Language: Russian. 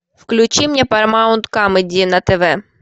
включи мне парамаунт камеди на тв